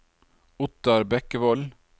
Ottar Bekkevold